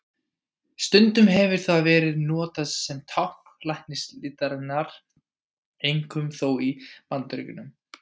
Stundum hefur það verið notað sem tákn læknislistarinnar, einkum þó í Bandaríkjunum.